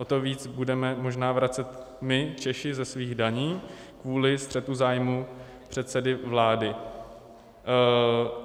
O to víc budeme možná vracet my, Češi, ze svých daní kvůli střetu zájmu předsedy vlády.